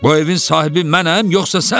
Bu evin sahibi mənəm, yoxsa sən?